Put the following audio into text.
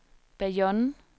Bayonne